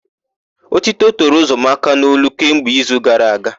Ótító toro Ụzọamaka n'olu kemgbe izu gara aga.